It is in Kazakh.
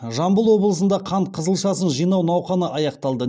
жамбыл облысында қант қызылшасын жинау науқаны аяқталды